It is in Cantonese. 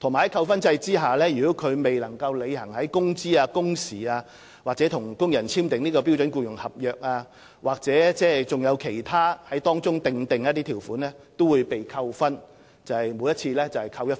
在扣分制度下，如承辦商未能履行工資、工時、與工人簽訂"標準僱傭合約"的條款或當中其他條款的規定，均會每次被扣除1分。